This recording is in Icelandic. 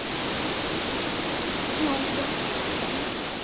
Jón gekk fram fyrir hann og sagði